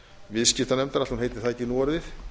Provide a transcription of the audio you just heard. viðskiptanefndar ætli hún heiti það ekki núorðið